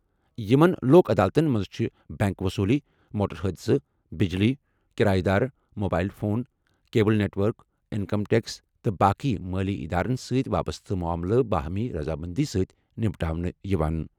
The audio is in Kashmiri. یِمَن لوک عدالتَن منٛز چھِ بینک وصوٗلی، موٹر حادثہٕ، بجلی، کرایہ دار، mobile phone, cable network, income tax تہٕ باقی مٲلی ادارَن سۭتۍ وابستہٕ معاملہٕ باہمی رضامندی سۭتۍ نمٹنہٕ یِوان۔